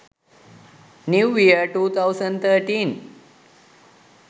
new year 2013